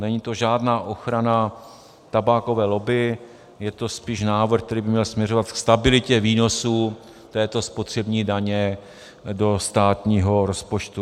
Není to žádná ochrana tabákové lobby, je to spíš návrh, který by měl směřovat ke stabilitě výnosů této spotřební daně do státního rozpočtu.